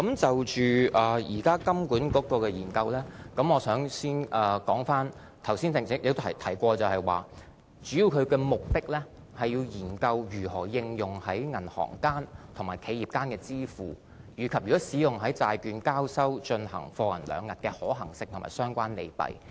就着金管局現時的研究，我剛才也提到，其中一個目的是要研究如何應用在銀行間和企業間的支付，以及如果使用在債券交收進行貨銀兩訖的可行性和相關利弊。